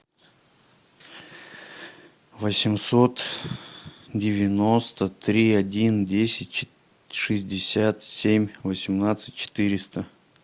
восемьсот девяносто три один десять шестьдесят семь восемнадцать четыреста